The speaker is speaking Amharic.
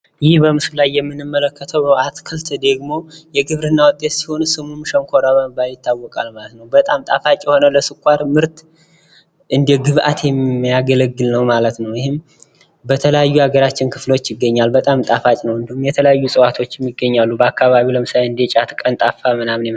ይህ በምስሉ ላይ የምንመለከተው አትክልት ደግሞ የግብርና ውጤት ሲሆን ሸንኮራ በመባል ይታወቃል ማለት ነው በጣም ጣፋጭ የሆነ ለስኳር ምርት እንደ ግብዓት የሚያገለግል ነው ማለት ነው። ።ይህም በተለያዩ የሀገራችን ክፍሎች ይገኛል በጣም ጣፋጭ ነው። እንዲሁም የተለያዩ ጽዋቶችም ይገኛሉ ።በአካባቢው ለምሳሌ እንደ ጫት ቀንጣፋ